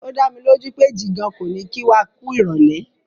O dámilójú pé Jìgan kò ní kí wa kú ìrọ̀lẹ́.